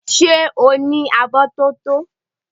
Ṣé o ní abọ́ tótó?